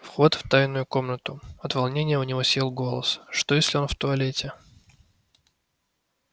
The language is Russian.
вход в тайную комнату от волнения у него сел голос что если он в туалете